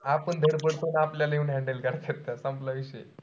आपण पडतो अन आपल्याला handle करायचे असतात. संपला विषय.